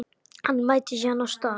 Hann mætir síðan á stað